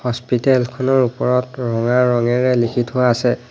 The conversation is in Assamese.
হস্পিটাল খনৰ ওপৰত ৰঙা ৰঙেৰে লিখি থোৱা আছে।